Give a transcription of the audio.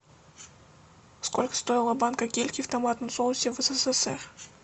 сколько стоила банка кильки в томатном соусе в ссср